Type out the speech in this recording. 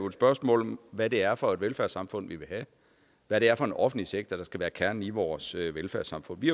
et spørgsmål om hvad det er for et velfærdssamfund vi vil have hvad det er for en offentlig sektor der skal være kernen i vores velfærdssamfund vi